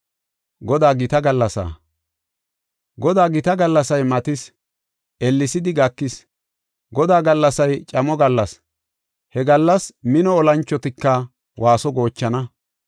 “Godaa gita gallasay matis; ellesidi gakis. Godaa gallasay camo gallas; He gallas mino olanchotika waaso goochana.